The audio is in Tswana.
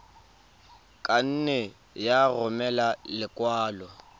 ka nne ya romela lekwalo